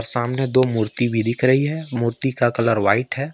सामने दो मूर्ति भी दिख रही है मूर्ति का कलर वाइट है।